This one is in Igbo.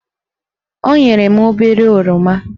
O nyere m obere oroma